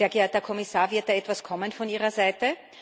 Sehr geehrter Herr Kommissar, wird da etwas kommen von Ihrer Seite?